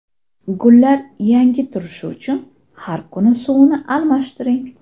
Gullar yangi turishi uchun har kuni suvini almashtiring.